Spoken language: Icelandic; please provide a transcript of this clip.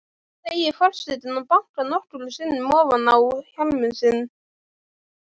segir forsetinn og bankar nokkrum sinnum ofan á hjálminn sinn.